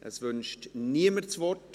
Es wünscht niemand das Wort.